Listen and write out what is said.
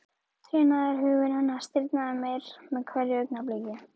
Trénaður hugur hennar stirðnaði meir með hverju augnabliki.